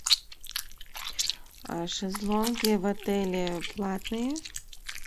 шезлонги в отеле платные